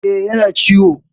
E, yana ciwo.